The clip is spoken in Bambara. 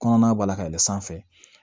Kɔnɔna b'a la ka yɛlɛ sanfɛ